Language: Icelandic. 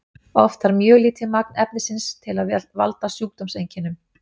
oft þarf mjög lítið magn efnisins til að valda sjúkdómseinkennum